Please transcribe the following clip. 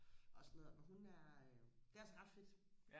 og sådan noget og hun er det er altså ret fedt